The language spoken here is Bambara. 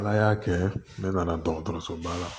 Ala y'a kɛ ne nana dɔgɔtɔrɔsoba la